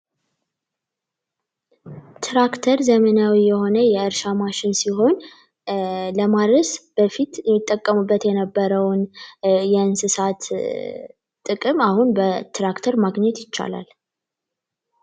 በትራክተር ዘመናዊ የሆነ የእርሻ ማሽን ሲሆንስ በፊት የነበረውን የእንስሳት ጥቅም በትራክተር ማግኘት ይቻላል።